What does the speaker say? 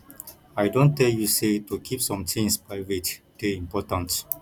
i don tell you sey to keep some tins private dey important